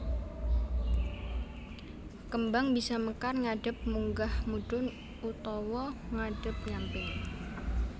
Kembang bisa mekar ngadhep munggah mudhun utawa ngadhep nyamping